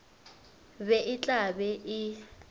be e tla be e